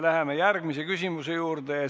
Läheme järgmise küsimuse juurde.